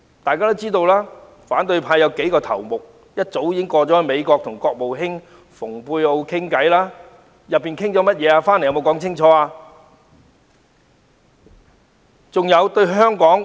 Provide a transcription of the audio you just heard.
大家也知道，反對派有數名頭目早已前往美國與國務卿蓬佩奧對話，他們回來後有否清楚交代對話內容？